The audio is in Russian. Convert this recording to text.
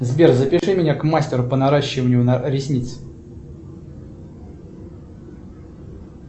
сбер запиши меня к мастеру по наращиванию ресниц